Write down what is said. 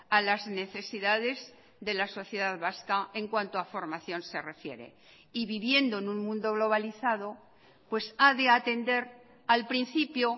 a las necesidades de la sociedad vasca en cuanto a formación se refiere y viviendo en un mundo globalizado pues ha de atender al principio